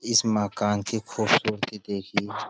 इस मकान की खूबसूरती देखिये।